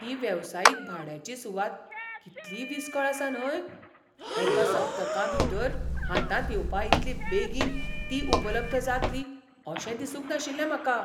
ही वेवसायीक भाड्याची सुवात कितली विसकळ आसा न्हय? एका सप्तका भितर हातांत येवपा इतली बेगीन ती उपलब्ध जातली अशें दिसूंक नाशिल्लें म्हाका!